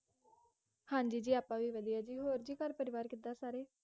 ਹਾਂਜੀ ਜੀ ਆਪਾਂ ਵੀ ਵਦੀਆਂ ਹੋਰ ਜੀ ਘਰ ਪਰਿਵਾਰ ਕਿੱਦਾਂ ਸਾਰੇ